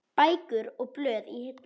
Bækur og blöð í hillum.